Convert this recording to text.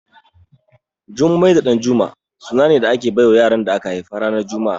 Jummai da Ɗanjuma suna ne da ake bawa yaran da aka haifa ranar juma'a